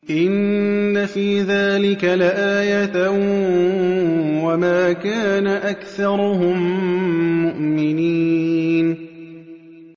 إِنَّ فِي ذَٰلِكَ لَآيَةً ۖ وَمَا كَانَ أَكْثَرُهُم مُّؤْمِنِينَ